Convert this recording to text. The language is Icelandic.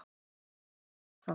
Og hvað er ég þá?